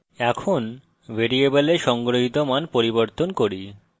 এখন ভ্যারিয়েবলে সংগ্রহিত মান পরিবর্তন করি